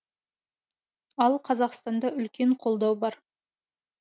ал қазақстанда үлкен қолдау бар